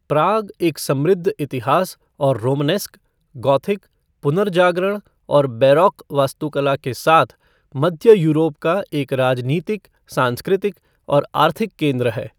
प्राग एक समृद्ध इतिहास और रोमनेस्क, गौथिक, पुनर्जागरण और बैरोक़ वास्तुकला के साथ मध्य यूरोप का एक राजनीतिक, सांस्कृतिक और आर्थिक केंद्र है।